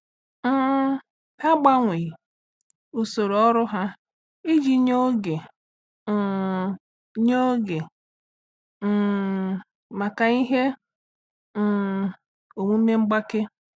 um Ha gbanwee usoro ọrụ ha iji nye oge um nye oge um maka ihe um omume mgbake.